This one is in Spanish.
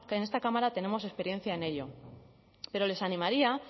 en esta cámara tenemos experiencia en ello pero les animaría